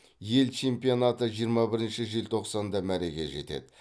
ел чемпионаты жиырма бірінші желтоқсанда мәреге жетеді